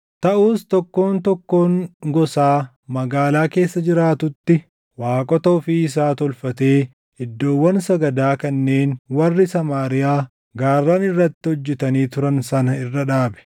Taʼus tokkoon tokkoon gosaa magaalaa keessa jiraatutti waaqota ofii isaa tolfatee iddoowwan sagadaa kanneen warri Samaariyaa gaarran irratti hojjetanii turan sana irra dhaabe.